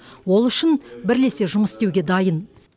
ол үшін бірлесе жұмыс істеуге дайын